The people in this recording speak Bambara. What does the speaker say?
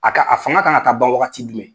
A ka a fanga ka ka taa ban wagati jumɛn?